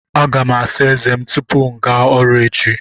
Aga m asa ézé m tupu m gaa ọrụ echi.